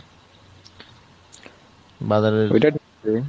বাজারের